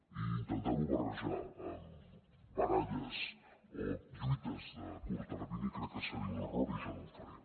i intentar ho barrejar amb baralles o lluites de curt termini crec que seria un error i jo no ho faré